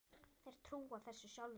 Þeir trúa þessu sjálfir